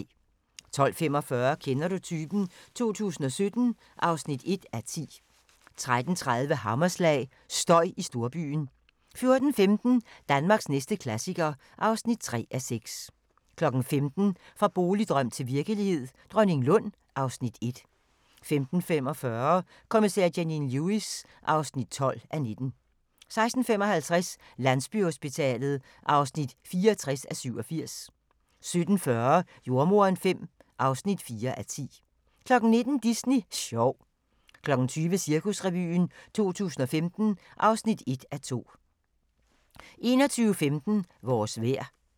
12:45: Kender du typen? 2017 (1:10) 13:30: Hammerslag – støj i storbyen 14:15: Danmarks næste klassiker (3:6) 15:00: Fra boligdrøm til virkelighed – Dronninglund (Afs. 1) 15:45: Kommissær Janine Lewis (12:19) 16:55: Landsbyhospitalet (64:87) 17:40: Jordemoderen V (4:10) 19:00: Disney sjov 20:00: Cirkusrevyen 2015 (1:2) 21:15: Vores vejr